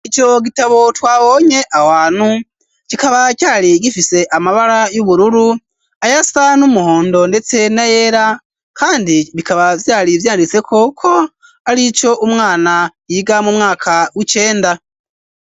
Ico gitabo twabonye ahantu kikaba cari gifise amabara y'ubururu ayasa n'umuhondo ndetse na yera kandi bikaba vyari vyanditseko ko arico umwana yiga mu mwaka w'icenda.